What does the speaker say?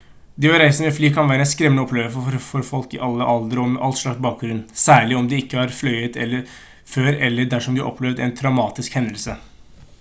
det å reise med fly kan være en skremmende opplevelse for folk i alle aldre og med all slags bakgrunn særlig om de ikke har fløyet før eller dersom de har opplevd en traumatisk hendelse